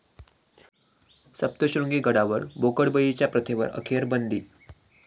सप्तश्रृंगी गडावर बोकडबळीच्या प्रथेवर अखेर बंदी